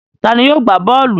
Ta ni yóò gbá bọ́ọ́lù?